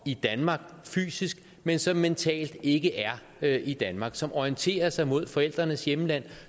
i danmark fysisk men som mentalt ikke er i danmark som orienterer sig imod forældrenes hjemland